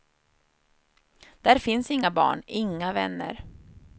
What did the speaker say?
Där finns inga barn, inga vänner.